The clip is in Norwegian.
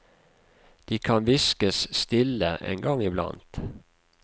De kan hviskes stille, en gang iblant.